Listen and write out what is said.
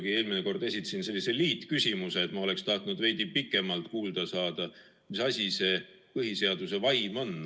Ma eelmine kord juba esitasin sellise liitküsimuse, aga ma oleksin tahtnud veidi pikemalt kuulda, mis asi see põhiseaduse vaim on.